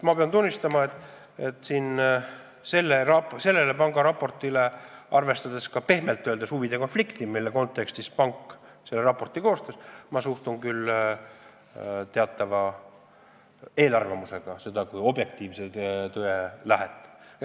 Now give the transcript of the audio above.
Ma pean tunnistama, et arvestades pehmelt öeldes ka huvide konflikti, mille kontekstis pank selle raporti koostas, ma suhtun sellesse raportisse kui objektiivse tõe allikasse teatava eelarvamusega.